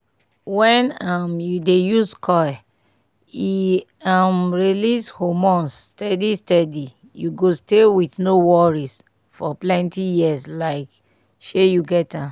wen um u dey use coil e um release hormones steady steady u go stay with no worry for plenty years like shey u get am